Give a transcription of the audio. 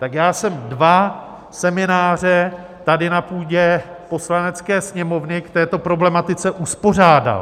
Tak já jsem dva semináře tady na půdě Poslanecké sněmovny k této problematice uspořádal.